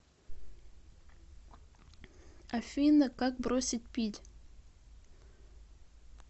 афина как бросить пить